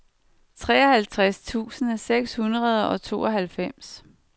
treoghalvtreds tusind seks hundrede og tooghalvfems